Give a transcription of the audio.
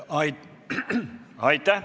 Aitäh!